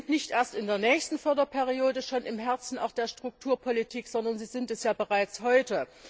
Sie sind nicht erst in der nächsten Förderperiode im Herzen der Strukturpolitik, sondern sie sind es bereits heute.